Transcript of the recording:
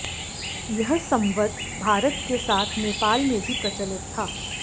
यह संवत् भारत के साथ नेपाल में भी प्रचलित था